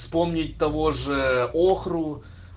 вспомнить того же охру